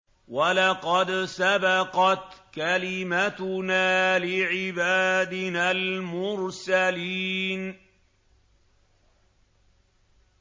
وَلَقَدْ سَبَقَتْ كَلِمَتُنَا لِعِبَادِنَا الْمُرْسَلِينَ